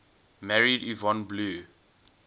married yvonne blue